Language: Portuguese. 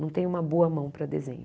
Não tenho uma boa mão para desenho.